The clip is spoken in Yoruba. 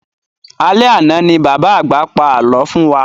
Alẹ́ àna ní bàbá àgbà pa alọ fún wa